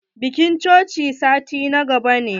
Bikin cocin sati na gaba ne.